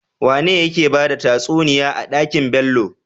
Wane yake bada tatsuniya a dakin Bello?